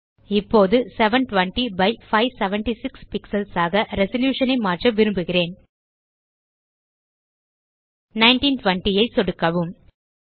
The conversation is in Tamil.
இப்போது 720 பை 576 பிக்ஸல்ஸ் ஆக ரெசல்யூஷன் ஐ மாற்ற விரும்புகிறேன் 1920 ஐ சொடுக்கவும்